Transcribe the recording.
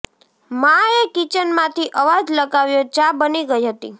માં એ કિચન માંથી અવાજ લગાવ્યો ચા બની ગઈ હતી